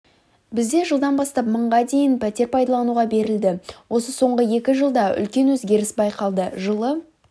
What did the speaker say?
бізде жылдан бастап мыңға дейін пәтер пайдалануға берілді осы соңғы екі жылда үлкен өзгеріс байқалды жылы